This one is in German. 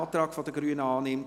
Antrag Grüne [Ammann, Bern])